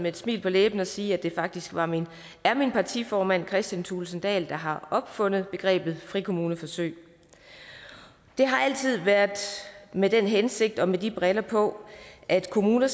et smil på læben at sige at det faktisk er min partiformand kristian thulesen dahl der har opfundet begrebet frikommuneforsøg det har altid været med den hensigt og med de briller på at kommuner